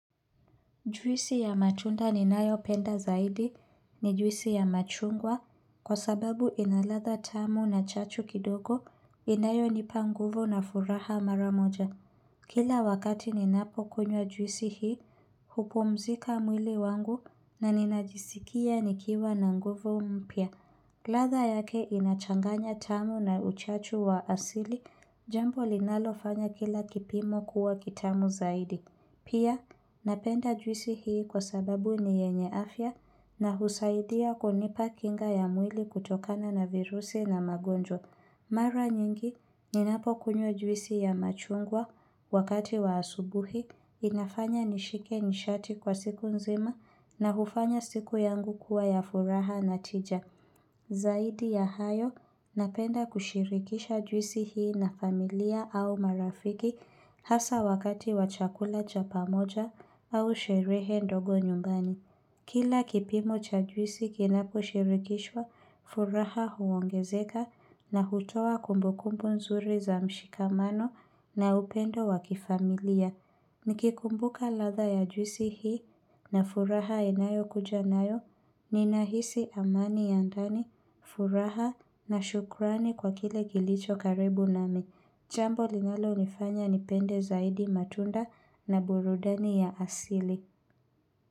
Juisi ya matunda ninayo penda zaidi ni juisi ya machungwa kwa sababu inaladha tamu na chachu kidogo inayo nipa nguvu na furaha mara moja. Kila wakati ninapo kunywa juisi hii, hupumzika mwili wangu na ninajisikia nikiwa na nguvu mpya. Ladha yake inachanganya tamu na uchachu wa asili jambo linalofanya kila kipimo kuwa kitamu zaidi. Pia, napenda juisi hii kwa sababu ni yenye afya na husaidia konipa kinga ya mwili kutokana na virusi na magonjwa. Mara nyingi, ninapo kunywa juisi ya machungwa wakati wa asubuhi, inafanya nishike nishati kwa siku nzima na hufanya siku yangu kuwa ya furaha na tija. Zaidi ya hayo, napenda kushirikisha juisi hii na familia au marafiki hasa wakati wa chakula cha pamoja au sherehe ndogo nyumbani. Kila kipimo cha juisi kinako shirikishwa, furaha huongezeka na hutoa kumbukumbu nzuri za mshikamano na upendo wa kifamilia. Ni kikumbuka ladha ya juisi hii na furaha inayo kuja nayo, nina hisi amani ya ndani, furaha na shukrani kwa kile kilicho karibu nami. Jambo linalo nifanya nipende zaidi matunda na burudani ya asili.